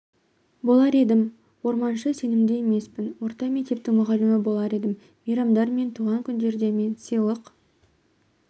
болар едім орманшы сенімді емеспін орта мектептің мұғалімі болар едім мейрамдар мен туған күндерде мен сыйлық